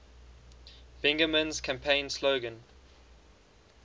bingaman's campaign slogan